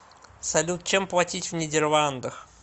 салют чем платить в нидерландах